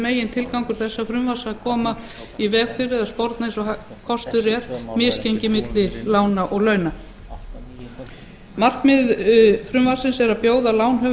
frumvarpsins er að koma í veg fyrir eða sporna eins og kostur er við misgengi milli lána og launa markmið frumvarpsins er að bjóða lánshöfum